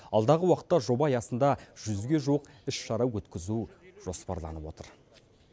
алдағы уақытта жоба аясында жүзге жуық іс шара өткізу жоспарланып отыр